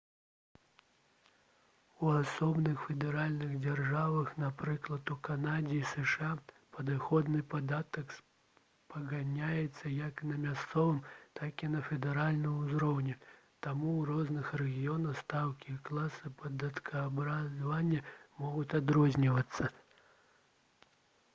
у асобных федэральных дзяржавах напрыклад у канадзе і зша падаходны падатак спаганяецца як на мясцовым так і на федэральным узроўні таму ў розных рэгіёнах стаўкі і класы падаткаабкладання могуць адрознівацца